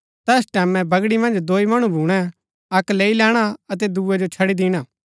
तैस टैमैं बगड़ी मन्ज दोई मणु भूणै अक्क लैई लैणा अतै दूये जो छड़ी दिणा